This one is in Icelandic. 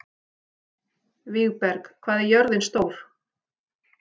Vígberg, hvað er jörðin stór?